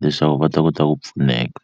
leswaku va ta kota ku pfuneka.